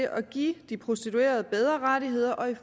at give de prostituerede bedre rettigheder og